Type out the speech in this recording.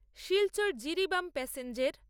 Silchar-Jiribam প্যাসেঞ্জের